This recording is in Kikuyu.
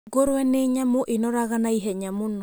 Ngũrũe ni nyamũ ĩnoraga naihenya mũno.